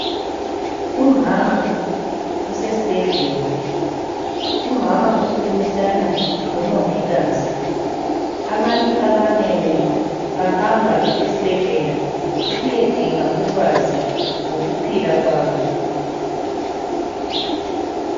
Umama usesibhedlela umama okhulumisana lamongikazi abantu abanengi bahamba esibhedlela ukuyadinga ulwazi ngokuphila kwabo.